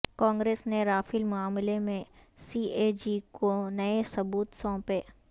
کانگریس نے رافیل معاملہ میں سی اے جی کو نئے ثبوت سونپے